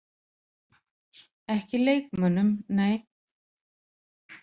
Ekki leikmönnum, nei.